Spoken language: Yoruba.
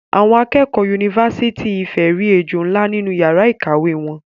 Awon akeekeo unifasiti Ifè ri ejo nla ninu iyara ikawe won